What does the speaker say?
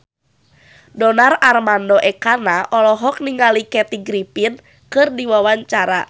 Donar Armando Ekana olohok ningali Kathy Griffin keur diwawancara